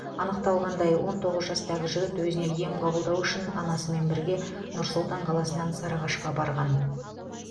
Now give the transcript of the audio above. анықталғандай он тоғыз жастағы жігіт өзіне ем қабылдау үшін анасымен бірге нұр сұлтан қаласынан сарыағашқа барған